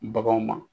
Baganw ma